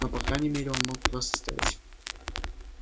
но по крайней мере он мог просто стоять